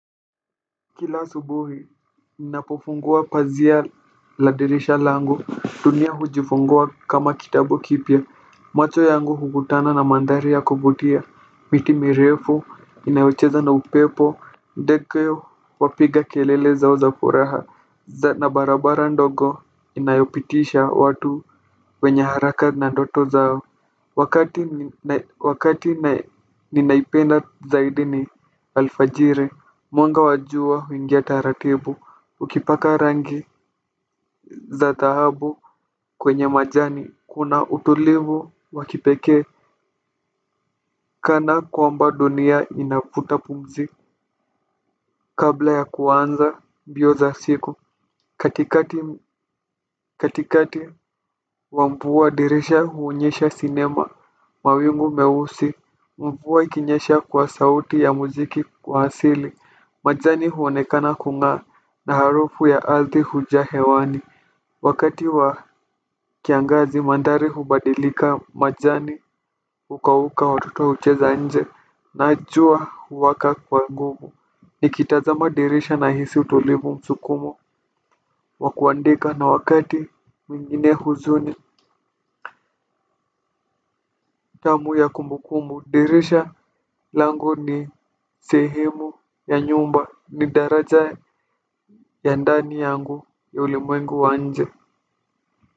Kila asubuhi ninapofungua pazia la dirisha langu dunia hujifungua kama kitabu kipya. Macho yangu huvutana na mandhari ya kuvutia, miti mirefu inayocheza na upepo, ndege wapiga kelele zao za furaha na barabara ndogo inayopitisha watu wenye haraka na ndoto zao wakati ninaipenda zaidi ni alfajiri. Mwanga wa jua huingia taratibu ukipaka rangi za thahabu kwenye majani. Kuna utulivu wakipekee kana kwamba dunia inavuta pumzi. Kabla ya kuanza mbio za siku katikati wa mvua dirisha huonyesha sinema. Mawingu meusi mvua ikinyesha kwa sauti ya muziki kwa asili. Majani huonekana kungaa na harufu ya arthi hujaa hewani. Wakati wa kiangazi mandhari hubadilika majani hukauka watoto hucheza nje na jua huwaka kwa nguvu. Nikitazama dirisha nahisi utolevu msukumo wakuandika na wakati mwingine huzuni nidhamu ya kumbu kumbu. Dirisha langu ni sehemu ya nyumba ni daraja ya ndani yangu ya uli mwengu wa nje.